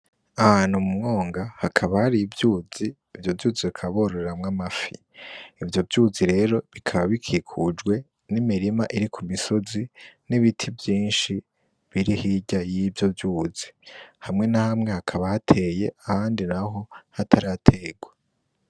Ahantu mu mwonga hakaba hari ivyuzi ivyo vyuzi akabororamwo amafi ivyo vyuzi rero bikaba bikikujwe n'imirima iri ku misozi n'ibiti vyinshi biri ho irya y'ivyo vyuzi hamwe nahamwe hakaba ahateye ahandi na ho hataraterwa.